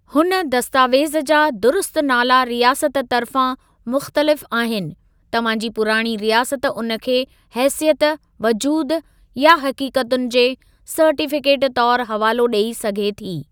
हुन दस्तावेज़ जा दुरुस्तु नाला रियासत तर्फ़ां मुख़्तलिफ़ आहिनि, तव्हां जी पुराणी रियासत उन खे हैसियत, वजूदु, या हक़ीक़तुनि जे सर्टीफ़िकेट तौर हवालो ॾेई सघे थी।